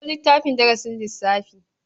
Ɗauko littafin darasin lssafi.